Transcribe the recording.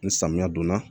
Ni samiya don na